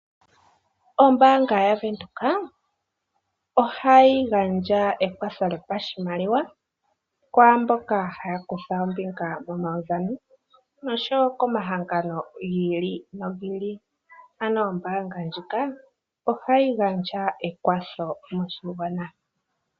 Ombaanga yaVenduka ohayi gandja ekwatho lyoshimaliwa. Kwaamboka haya kutha ombinga momaudhano nosho wo komahangano gi ili nogi ili. Ano ombaanga ndjika ohayi gandja ekwatho moshigwana.